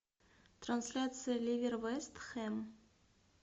трансляция ливер вест хэм